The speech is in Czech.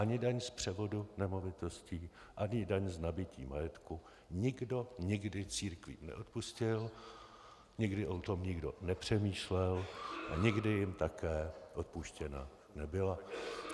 Ani daň z převodu nemovitostí ani daň z nabytí majetku nikdo nikdy církvím neodpustil, nikdy o tom nikdo nepřemýšlel a nikdy jim také odpuštěno nebylo.